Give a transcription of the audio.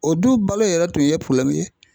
O du balo yɛrɛ tun ye ye.